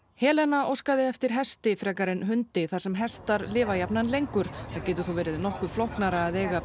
Helena óskaði eftir hesti frekar en hundi þar sem hestar lifa jafnan lengur það getur þó verið nokkuð flóknara að eiga